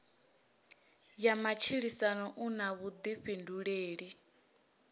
ya matshilisano u na vhuḓifhinduleli